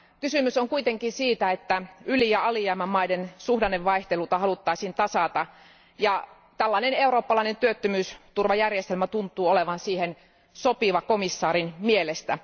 Kysymys on kuitenkin siitä, että yli ja alijäämämaiden suhdannevaihteluja haluttaisiin tasata ja tällainen eurooppalainen työttömyysturvajärjestelmä tuntuu olevan siihen sopiva komission jäsenen mielestä.